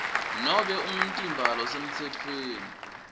nobe umtimba losemtsetfweni